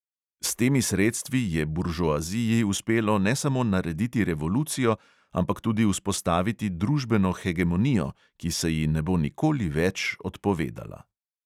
S temi sredstvi je buržoaziji uspelo ne samo narediti revolucijo, ampak tudi vzpostaviti družbeno hegemonijo, ki se ji ne bo nikoli več odpovedala.